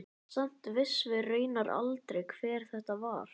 Samt vissum við raunar aldrei hver þetta var.